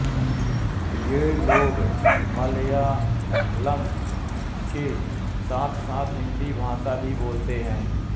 ये लोग मलयालम के साथसाथ हिन्दी भाषा भी बोलते हैं